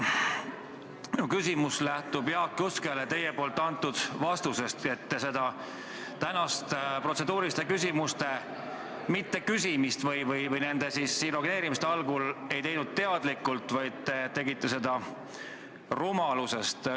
Mu küsimus lähtub vastusest, mille te andsite Jaak Juskele, et seda tänast protseduuriliste küsimuste mitteküsimist või nende esialgset ignoreerimist ei teinud te teadlikult, vaid rumalusest.